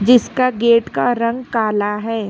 इसका गेट का रंग काला है।